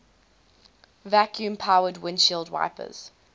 vacuum powered windshield wipers